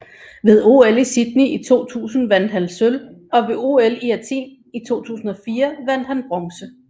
Ved OL i Sydney i 2000 vandt han sølv og ved OL i Athen i 2004 vandt han bronze